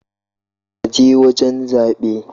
Ka je wajen zabe.